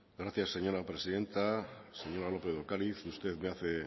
gracias señora presidenta señora lópez de ocariz usted me hace